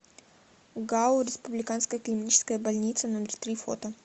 гау республиканская клиническая больница номер три фото